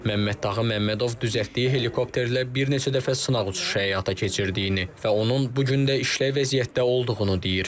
Məmməddağı Məmmədov düzəltdiyi helikopterlə bir neçə dəfə sınaq uçuşu həyata keçirdiyini və onun bu gün də işlək vəziyyətdə olduğunu deyir.